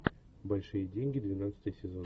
большие деньги двенадцатый сезон